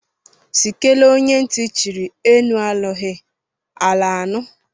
Si kele onye ntị chiri; elu anụghị, ala anụ.